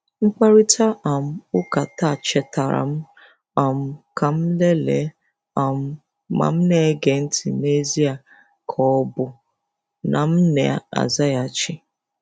Mkparịta um ụka taa chetaara m um ka m lelee um ma m̀ na-ege ntị n'ezie ka ọ bụ na m na-azaghachi.